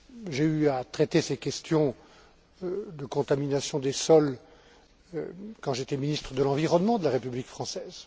J'ai eu à traiter ces questions de contamination des sols quand j'étais ministre de l'environnement de la République française.